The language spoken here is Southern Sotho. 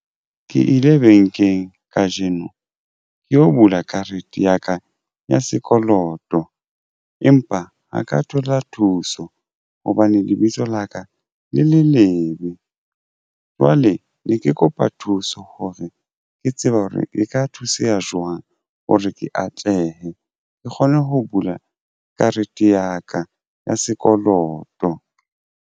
Ke ile bankeng kajeno ke yo bula karete ya ka ya sekoloto empa ha ka thola thuso hobane lebitso laka le le lebe. Jwale ne ke kopa thuso hore ke tseba hore e ka thuseha jwang. O re ke atlehe ke kgone ho bula karete ya ka ya sekoloto.